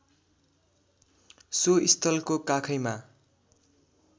so स्थलको काखैमा